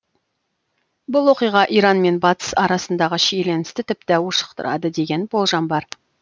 бұл оқиға иран мен батыс арасындағы шиеленісті тіпті ушықтырады деген болжам бар